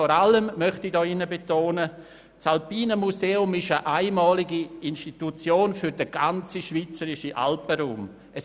Vor allem möchte ich betonen, dass das Alpine Museum eine einmalige für den gesamten schweizerischen Alpenraum ist.